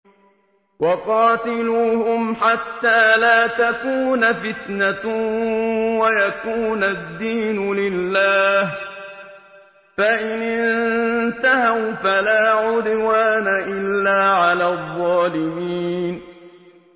وَقَاتِلُوهُمْ حَتَّىٰ لَا تَكُونَ فِتْنَةٌ وَيَكُونَ الدِّينُ لِلَّهِ ۖ فَإِنِ انتَهَوْا فَلَا عُدْوَانَ إِلَّا عَلَى الظَّالِمِينَ